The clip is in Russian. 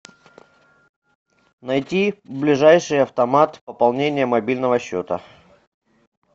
найти ближайший автомат пополнения мобильного счета